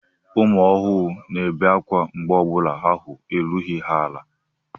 Ụmụ ohuru na-ebe ákwá mgbe ọ bụla ahụ erughị ha ala.